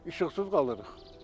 İşıqsız qalırıq.